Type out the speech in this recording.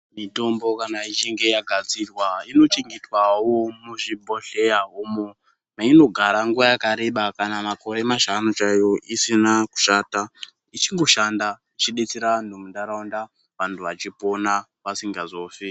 Mitombo kana ichinge yagadzirwa inochengetwawo muzvibhohleya meinogara nguva yakareba kana makore mashanu chaiwo isina kushata .Ichingodetsera antu mundaraunda vantu vachingopona vasingazofi .